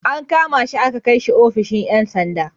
An kama shi aka kai shi ofishin ‘yan sanda.